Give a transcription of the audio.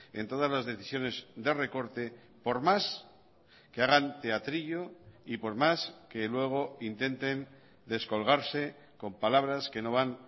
en todas las decisiones de recorte por más que hagan teatrillo y por más que luego intenten descolgarse con palabras que no van